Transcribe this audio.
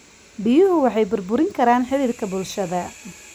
Biyuhu waxay burburin karaan xiriirka bulshada.